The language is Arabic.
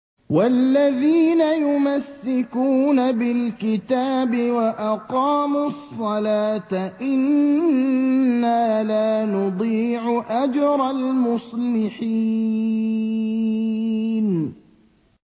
وَالَّذِينَ يُمَسِّكُونَ بِالْكِتَابِ وَأَقَامُوا الصَّلَاةَ إِنَّا لَا نُضِيعُ أَجْرَ الْمُصْلِحِينَ